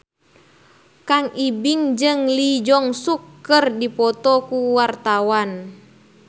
Kang Ibing jeung Lee Jeong Suk keur dipoto ku wartawan